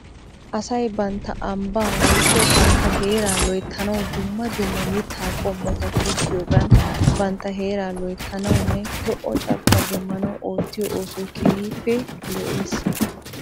Asay bantta ambbaa woykko bantta heeraa loyttanaw dumma dumma mittaa qommota tokkiyoogan bantta heeraa loyttanawunne lo'o carkkuwaa demmanaw oottiyoo oosoy keehippe lo'es.